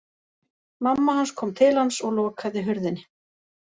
Mamma hans kom til hans og lokaði hurðinni.